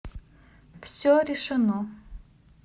все решено